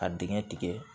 Ka dingɛ tigɛ